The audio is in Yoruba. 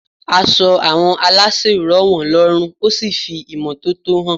Aṣọ àwọn aláṣẹ rọ̀ wọ́n lọ́rùn ó sì fi ìrísí imọ́tótó hàn.